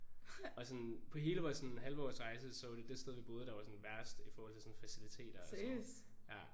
Og sådan på hele vores sådan halvårs rejse så var det det sted vi boede der var sådan værst i forhold til sådan faciliteter og sådan noget ja